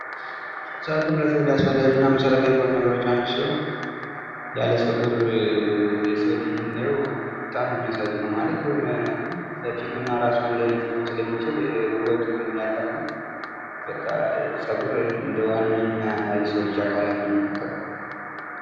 ፀጉር ለሰው ልጅ አስፈላጊ እና መሰረታዊ ከሆኑ ነገሮች ዉስጥ አንዱ ሲሆን ያለፀጉር የሰውን ልጅ ብናየው በጣም ነው የሚያሳዝነው:: ማለት የሆነ ፊቱ እና እራሱ አንድ አይነት ሊሆን ስለሚችል ዉበቱን ያጣል እና በቃ ፀጉር እንደ ዋነኛ የሰው ልጅ አካላት ነው የሚቆጠረው::